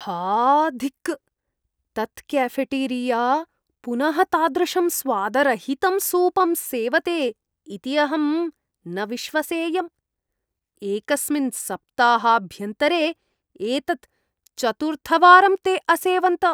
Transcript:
हा धिक्! तत् केफ़ेटेरिया पुनः तादृशं स्वादरहितं सूपं सेवते इति अहं न विश्वसेयम्। एकस्मिन् सप्ताहाभ्यन्तरे एतत् चतुर्थवारं ते असेवन्त।